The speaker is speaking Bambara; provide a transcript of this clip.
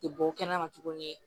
Ti bɔ kɛnɛma tuguni